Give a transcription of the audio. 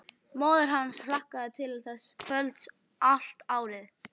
Móðir hans hlakkaði til þessa kvölds allt árið.